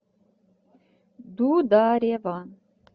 дударева